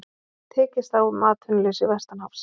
Tekist á um atvinnuleysi vestanhafs